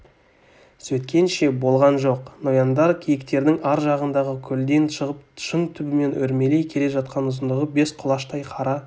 сөйткенше болған жоқ нояндар киіктердің ар жағындағы көлден шығып шың түбімен өрмелей келе жатқан ұзындығы бес құлаштай қара